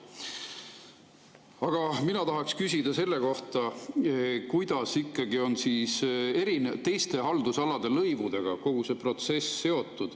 Aga mina tahaksin küsida selle kohta, kuidas ikkagi on kogu see protsess seotud teiste haldusalade lõivudega.